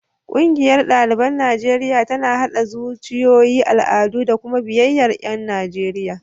Ƙungiyar ɗaliban Najeriya tana haɗa zuciyoyi, al'adu da kuma biyayyar ƴan Najeriya.